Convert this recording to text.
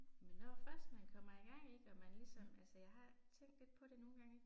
Men når først man kommer i gang ik, og man ligesom altså jeg har tænkt lidt på det nogle gange på det ik